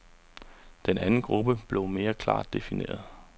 Den anden gruppe blev mere klart defineret.